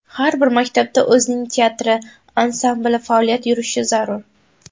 Har bir maktabda o‘zining teatri, ansambli faoliyat yurishi zarur.